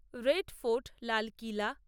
red Fort Lal কিলা